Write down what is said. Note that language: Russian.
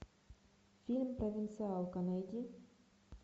фильм провинциалка найди